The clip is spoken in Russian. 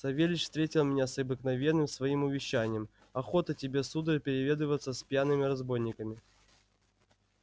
савельич встретил меня с обыкновенным своим увещанием охота тебе сударь переведываться с пьяными разбойниками